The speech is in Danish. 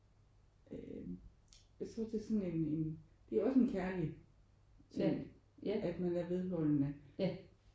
Øh jeg tror det er sådan en en det er også en kærlig ting at man er vedholdende